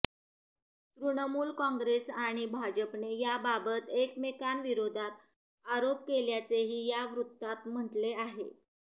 तृणमुल काँग्रेस आणि भाजपने याबाबत एकमेकांविरोधात आरोप केल्याचेही या वृत्तात म्हटले आहे